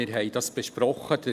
Wir haben dies besprochen.